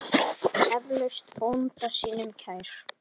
Eflaust bónda sínum kær.